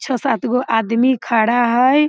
छो-सात गो आदमी खड़ा हय।